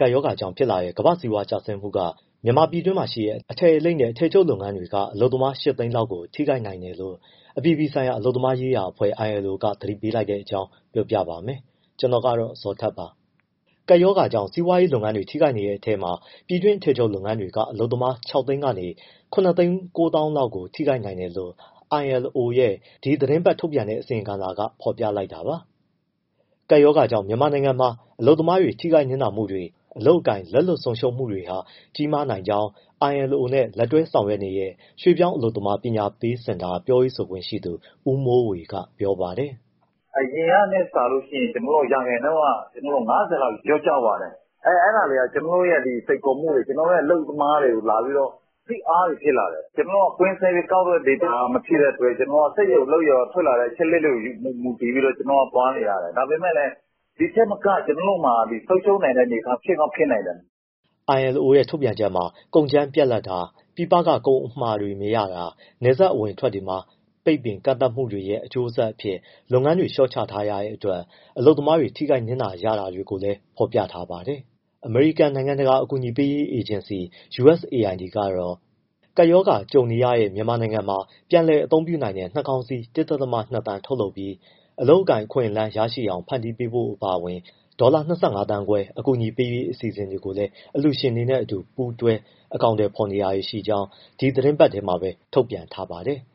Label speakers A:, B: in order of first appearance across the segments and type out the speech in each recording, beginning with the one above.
A: ကပ်ရောဂါကြောင့်ဖြစ်လာတဲ့ ကမ္ဘာ့စီးပွားရေးကျဆင်းမှုက မြန်မာပြည်တွင်းမှာရှိတဲ့ အထည်လိပ်နဲ့ အထည်ချုပ်လုပ်ငန်းတွေက အလုပ်သမား ၈ သိန်းလောက်အထိ ထိခိုက်နိုင်တယ်လို့ အပြည်ပြည်ဆိုင်ရာ အလုပ်သမားရေးရာအဖွဲ့ ILO က သတိပေးလိုက်တဲ့အကြောင်း ကိုဇော်ထထက် ပြောပြပါမယ်။ ကပ်ရောဂါကြောင့် စီးပွားရေးလုပ်ငန်းတွေ ထိခိုက်နေတဲ့ အထဲမှာ ပြည်တွင်းအထည်ချုပ် လုပ်ငန်းတွေက အလုပ်သမား ၆ သိန်း ကနေ ၇၉၀၀၀၀ လောက်ကို ထိခိုက်နိုင်တယ် လို့ ILO ရဲ့ ဒီသီတင်းပတ်ထုတ်ပြန်တဲ့ အစီရင်ခံစာက ဖော်ပြလိုက်တာပါ။ ကပ်ရောဂါကြောင့် မြန်မာနိုင်ငံမှာ အလုပ်သမားတွေ ထိခိုက်နစ်နာမှုတွေ၊ အလုပ်အကိုင် လက်လွတ်ဆုံးရှုံးမှုတွေဟာ ကြီးမားနိုင်ကြောင်း ILO နဲ့လက်တွဲဆောင်ရွက်နေတဲ့ ရွှေ့ပြောင်းအလုပ်သမား ပညာပေးစင်တာ ပြောရေးဆိုခွင့်ရှိသူ ဦးမိုးဝေက ပြောပါတယ်
B: ။ “အရင်ကထက်စာရင် ကျနော်တို့က ၅၀ ရာခိုင်နှုန်း လောက်လျော့ကျသွားတယ်။ အဲဒါတွေက ကျနော်တို့ရဲ့ စိန်ခေါ်မှုတွေ၊ ကျနော်တို့ရဲ့ အလုပ်သမားတွေကို ဖိအားတွေဖြစ်လာတယ်။ ကျနော်တို့က ကွင်းဆင်းပြီးကောက်တဲ့ data မဖြစ်တဲ့အတွက် ကျနော်တို့က စက်ရုံအလုပ်ရုံက ထွက်လာတဲ့ အချက်အလက်တွေကို မူတည်ပြီး ကျနော်တို့သွားနေရတယ်။ ဒါပေမဲ့လည်း ဒီထက်မက ကျနော်တို့မှာ ဆုံးရှုံးနိုင်တဲ့အနေအထား ဖြစ်ကောင်းဖြစ်နိုင်တယ်
A: ။” ILO ထုတ်ပြန်ချက်မှာတော့ ကုန်ကြမ်းပြတ်လပ်တာ၊ ပြည်ပက ကုန်အမှာတွေမရတာ၊ နယ်စပ်အဝင်အထွက်တွေမှာ ပိတ်ပင်ကန့်သတ်မှုတွေရဲ့ အကျိုးဆက်အဖြစ် လုပ်ငန်းတွေ လျှော့ချထားရတဲ့အတွက် အလုပ်သမားတွေ ထိခိုက်နစ်နာနေရတာကိုလည်း ဖော်ပြထားပါတယ်။ အမေရိကန် နိုင်ငံတကာ အကူအညီပေးရေး အေဂျင်စီ USAID ကတော့ ကပ်ရောဂါကြုံနေရတဲ့ မြန်မာနိုင်ငံမှာ ပြန်လည်အသုံးပြုနိုင်တဲ့ နှာခေါင်းစည်း ၁.၂ သန်း ထုတ်လုပ်ပြီး အလုပ်အကိုင် အခွင့်အလန်း ရရှိအောင် ဖန်တီးဖို့ အပါအဝင် ဒေါ်လာ ၂၅သန်းခွဲ အကူအညီပေးရေး အစီအစဉ်ကို အလှူရှင်တွေနဲ့အတူ ပူးတွဲအကောင်အထည် ဖော်နေကြောင်း ဒီသီတင်းပတ်ထဲမှာပဲ သတင်းထုတ်ပြန် ထားပါတယ်။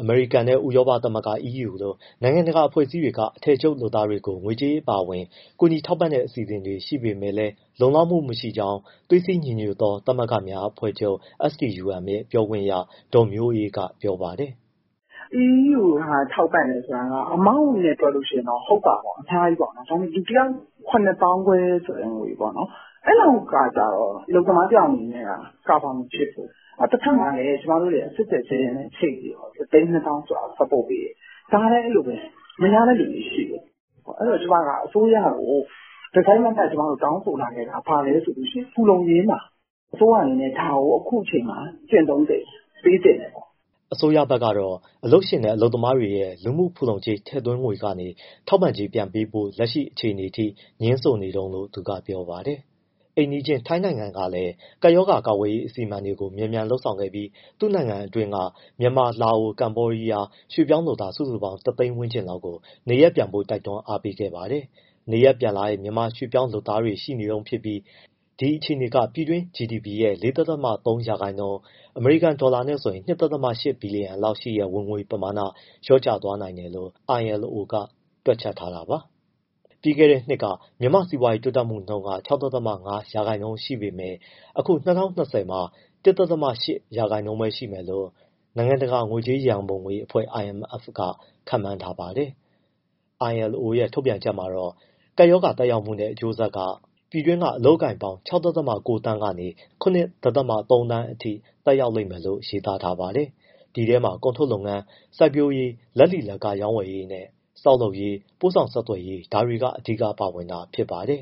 A: အမေရိကန်နဲ့ ဥရောပသမဂ္ဂ EU လို နိုင်ငံတကာအဖွဲ့အစည်းတွေက အထည်ချုပ်လုပ်သားတွေကို ငွေကြေးအပါအဝင် ကူညီထောက်ပံ့တဲ့ အစီအစဉ်တွေ ရှိနေပေမဲ့လည်း လုံလောက်မှုမရှိကြောင်း သွေးစည်းညီညွတ်သောသမဂ္ဂများအဖွဲ့ချုပ် STUM ရဲ့ ပြောခွင့်ရ ဒေါ်မျိုးအေးက ပြောပါတယ်
C: ။ “ EU က ထောက်ပံ့တယ်ဆိုတာက amount နဲ့တွက်လို့ရှိရင်တော့ ဟုတ်တာပေါ့ အများကြီးပေါ့။ ဒါပေမယ့် လူတယောက် ( ကျပ်)၇၅၀၀၀ ဆိုတဲ့ ငွေပေါ့နော်၊ အဲလောက်ကကျတော့ အလုပ်သမားတယောက်အနေနဲ့က cover မဖြစ်ဘူး။ တဘက်မှာလည်း ကျမတို့ကSave the Children နဲ့ချိတ်ပြီးတော့ ၁၂၀၀၀၀ ဆိုတာကို support ( ထောက်ပံ့) ပေးတယ်။ ဒါလည်း အဲဒီလိုပဲ မရတဲ့သူတွေရှိတယ်။ အဲဒီတော့ ကျမက အစိုးရကို တစိုက်တမတ်တောင်းဆိုလာခဲ့တာ လူမှုဖူလုံရေးမှာ အစိုးရအနေနဲ့ ဒါကို အခုအချိန်မှာ ကျင့်သုံးသင့်တယ်၊ ပေးသင့်
A: တယ်ပေါ့။” အစိုးရဘက်ကတော့ အလုပ်ရှင်နဲ့ အလုပ်သမားရဲ့ လူမှုဖူလုံကြေးထည့်သွင်းငွေကနေ ထောက်ပံ့ကြေး ပြန်ပေးဖို့ လက်ရှိအခြေအနေထိ ငြင်းဆိုနေတုန်းလို့ သူကပြောပါတယ်။ အိမ်နီးချင်းထိုင်းနိုင်ငံကလည်း ကပ်ရောဂါကာကွယ်ရေး အစီအမံတွေ မြန်မြန်လုပ်ဆောင်ခဲ့ပြီး သူ့နိုင်ငံတွင်းက မြန်မာ၊ လာအို၊ ကမ္ဘောဒီးယား ရွေ့ပြောင်းလုပ်သား စုစုပေါင်း ၁ သိန်း ဝန်းကျင်လောက်ကို နေရပ်ပြန်ဖို့ တွန်းအားပေးခဲ့ပါတယ်။ နေရပ်ပြန်လာတဲ့ မြန်မာရွှေ့ပြောင်း လုပ်သားတွေရှိနေတုန်းဖြစ်ပြီး ဒီအခြေအနေက ပြည်တွင်း GDP ရဲ့၄.၃ ရာခိုင်နှုန်း ( အမေရိကန်ဒေါ်လာ ၂.၈ ဘီလီယံ) လောက်ရှိတဲ့ ဝင်ငွေပမာဏ လျော့ကျ သွားနိုင်တယ်လို့ ILO ကတွက်ချက်ထားတာပါ။ ပြီးခဲ့တဲ့နှစ်က မြန်မာ့စီးပွားရေးတိုးတက်နှုန်း ၆.၅ ရာခိုင်နှုန်းရှိပေမဲ့ အခု ၂၀၂၀ မှာ ၁.၈ ရာခိုင်နှုန်းပဲရှိမယ်လို့ နိုင်ငံတကာ ငွေကြေးရန်ပုံငွေအဖွဲ့ IMF ကခန့်မှန်းထားပါတယ်။ ILO ရဲ့ ထုတ်ပြန်ချက်မှာ ကပ်ရောဂါသက်ရောက်မှုနဲ့ အကျိုးဆက်က ပြည်တွင်း အလုပ်အကိုင်ပေါင်း ၆.၉ သန်းကနေ ၇.၃ သန်းအထိ သက်ရောက်လိမ့်မယ်လို့ ရေးသားထားပါတယ်။ ဒီထဲမှာ ကုန်ထုတ်လုပ်ငန်း၊ စိုက်ပျိုးရေး၊ လက်လီလက်ကားရောင်းဝယ်ရေးနဲ့ ဆောက်လုပ်ရေး၊ ပို့ဆောင်ဆက်သွယ်ရေး ဒါတွေက အဓိကပါဝင်တာဖြစ်ပါတယ်